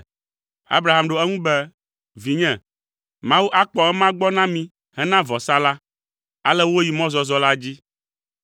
Abraham ɖo eŋu be, “Vinye, Mawu akpɔ ema gbɔ na mí hena vɔsa la.” Ale woyi mɔzɔzɔ la dzi.